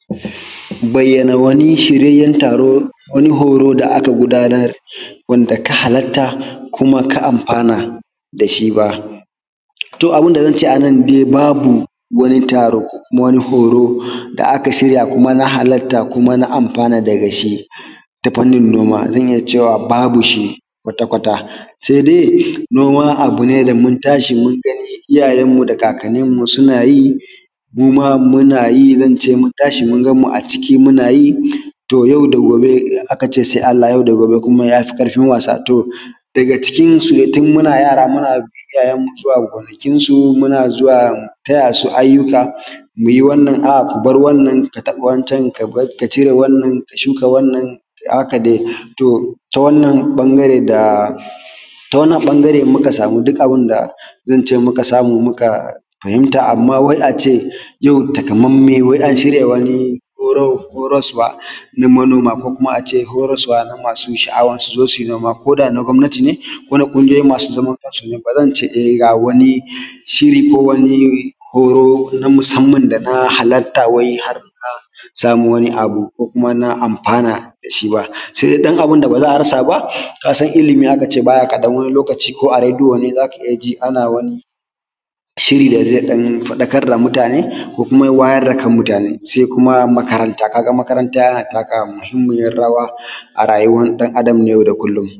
bayyana wani shiryayyen taro, wani horo da aka gudanar, wanda na halarta kuma na amfana da shi to, abin da zan ce a nan dai, babu wani taro ko kuma wani horo da aka shirya kuma na halarta, kuma na amfana da ga shi ta faŋnin noma, a zan iya cewa babu shi kwata-kwata. Se dai noma abu ne da mun tashi mun gani iyayenmu da kakkaninmu suna yi, muma muna yi zan ce mun tashi mun gan mu ciki, muna yi. To, yau da gobe aka ce se Allah, ‘yau da gobe ya fi ƙarfiŋ wasa’. to daga cikin su, tun muna yara muna bin iyayenmu zuwa gonakinsu, muna zuwa mu tayya su ayyuka mu yi wannan, aa, mu bar wannan, ka taɓa wancan, ka cire wancan, ka shuka wannan haka dai. To, ta wannan baŋgare, da ta wannan baŋgare, muka samu zance, muka samu, muka fahimta. amma wai a ce yau katammame, wai an shirya wani horo saboda noma, ko kuma a ce horo-sabo da masu sha’awar su yi noma koda na ƙwamatine, ko na ƙuŋgiyoyi masu zamankansu ba zan ce ga wani shiri ko wani hor na masamman da na halarta, har wai a samu wani abu, kuma na anfana da shi se dai ɗan abun da ba za a rasa ba, kasan ilimi aka ce ba ya ƙaɗan wani lokaci ko a rediyo ne za ka iya ji ana wani shiri da ze ɗan faɗakar da mutane, ko kuma wayar da kan mutane. Se kuma makaranta ka ga makaranta yana taka muhimmiyar rawa a rayuwar ɗan-adam na yau da kullum.